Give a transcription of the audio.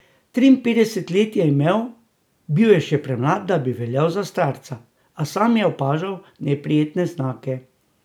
Triinpetdeset let je imel, bil je še premlad, da bi veljal za starca, a sam je že opažal neprijetne znake.